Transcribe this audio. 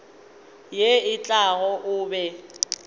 ye e tlago o be